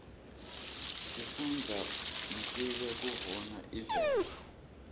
sifunbza nifnqe kuguna imvelo